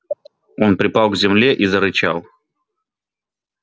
он припал к земле и зарычал